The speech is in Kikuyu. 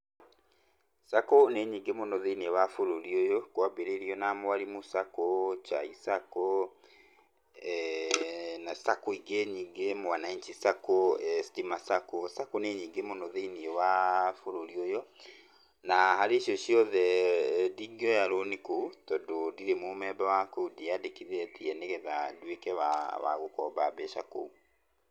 sacco nĩ nyingĩ mũno thĩiniĩ wa bũrũri ũyũ, kwambĩrĩirio na Mwalimu Sacco, Chai Sacco na Sacco ingĩ nyingĩ; Mwananchi Sacco, Daima Sacco. sacco nĩ nyingĩ mũno thĩiniĩ wa bũrũri ũyũ na harĩ icio ciothe ndingioya rũni kũu tondũ ndirĩ mũmemba wa kũu, ndiĩyandĩkithĩtie nĩ getha nduĩke wa gũkomba mbeca kũu.